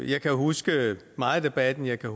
kan huske meget af debatten jeg kan